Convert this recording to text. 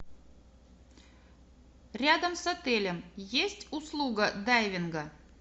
рядом с отелем есть услуга дайвинга